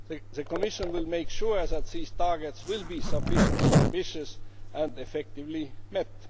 The Commission will make sure that these targets are sufficiently ambitious and effectively met.